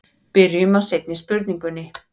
Byrjum á seinni spurningunni.